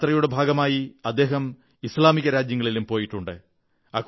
യാത്രയുടെ ഭാഗമായി അദ്ദേഹം ഇസ്ലാമിക രാജ്യങ്ങളിലും പോയിട്ടുണ്ട്